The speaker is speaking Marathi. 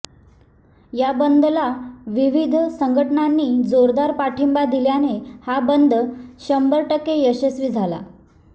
या बंदला विविध संघटनांनी जोरदार पाठिंबा दिल्याने हा बंद शंभर टक्के यशस्वी झाला